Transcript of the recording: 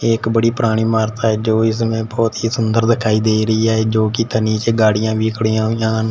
एक बड़ी पुरानी इमारत है जो इसमें बहोत ही सुंदर दिखाई दे रही है जो कि थ नीचे गाड़ियां भी खड़ी है यहां --